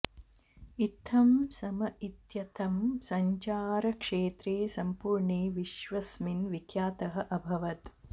इत्थं सॅम इत्ययं सञ्चारक्षेत्रे सम्पूर्णे विश्वस्मिन् विख्यातः अभवत्